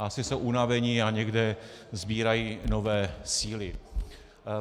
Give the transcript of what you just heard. Asi jsou unaveni a někde sbírají nové síly.